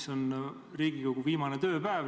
See on Riigikogu viimane tööpäev.